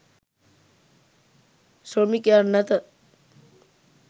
ශ්‍රමිකයන් නැත.